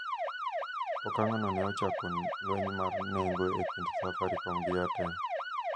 Okang' no ne ochako lweny mar nengo e kind Safaricom gi Airtel